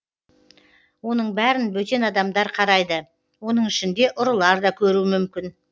оның бәрін бөтен адамдар қарайды оның ішінде ұрылар да көруі мүмкін